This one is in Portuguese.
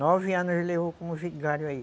Nove anos ele levou como vigário aí.